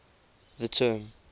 the term